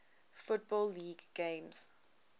football league games